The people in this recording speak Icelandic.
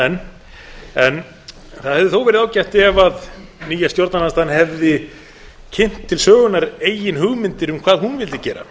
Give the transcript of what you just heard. enn það hefði þó verið ágætt ef nýja stjórnarandstaðan hefði kynnt til sögunnar eigin hugmyndir um hvað hún vildi gera